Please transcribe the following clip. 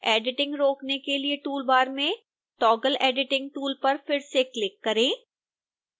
editing रोकने के लिए टूल बार में toggle editing टूल पर फिर से क्लिक करें